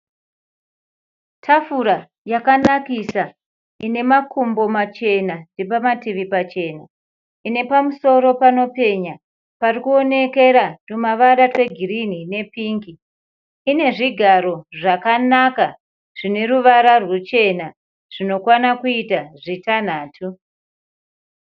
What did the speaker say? Tafura yakanakissa ine makumbo machena nepamativi pachena. Ine pamusoro panopecha pari kuonekera twumavara twegirinhi nepingi. Ine zvigaro zvakanaka zvine ruvara ruchena zvinokwanaka kuita zvitanhatu.